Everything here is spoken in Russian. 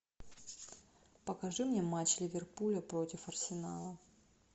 покажи мне матч ливерпуля против арсенала